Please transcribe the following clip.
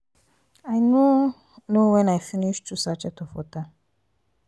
i no know wen i finish two sachet of water.